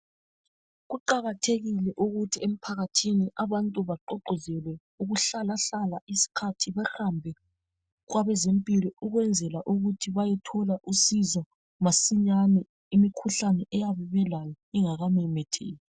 Kuqakathekile ukuthi emphakathini abantu baqoqozelwe ukuhlalahlala isikhathi behambe kwabezempilo ukwenzela ukuthi bayethola usizo masinyane imikhuhlane eyabe belayo ingakamemetheki.